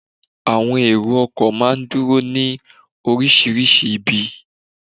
Àwọn èrò ọkọ̀ máa ń dúró ní orísìírísìí ibi